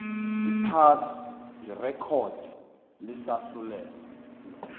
phasi irekhodi lesahlulelo